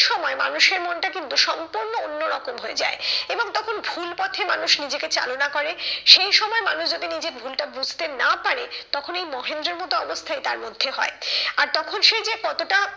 সময় মানুষের মনটা কিন্তু সম্পূর্ণ অন্যরকম হয়ে যায় এবং তখন ভুল পথে মানুষ নিজেকে চালনা করে সেই সময় মানুষ যদি নিজের ভুলটা বুঝতে না পারে তখন এই মহেন্দ্রের মতো অবস্থাই তার মধ্যে হয়। আর তখন সে যে কতটা